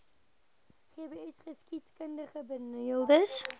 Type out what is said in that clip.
gbsgeskiedkundigbenadeeldes